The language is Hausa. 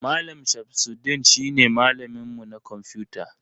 Mallam shamsudeen shi ne malamin mu na kwamfuta.